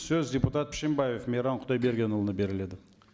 сөз депутат пішембаев мейрам құдайбергенұлына беріледі